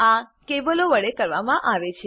આ કેબલો વડે કરવામાં આવે છે